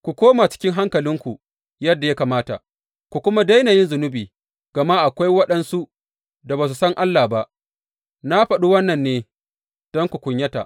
Ku koma cikin hankalinku yadda ya kamata, ku kuma daina yin zunubi, gama akwai waɗansu da ba su san Allah ba, na faɗi wannan ne don ku kunyata.